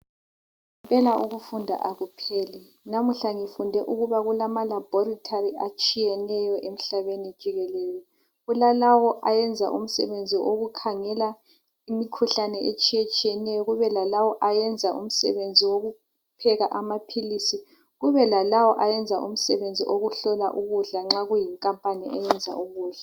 ngempela ukufunda akupheli namuhla ngifunde ukubana kulama laboratory atshiyneyo emhlabeni jikelele kulalawo ayenza imisebenzi yokukhangela imikhuhlane etshiyeneyo kubelalawa ayenza umsebenzi wokupheka amaphilisi kube lalawa ayenza umsebenzi wokuhlola ukudla nxa kuyinkampani eyenza ukudla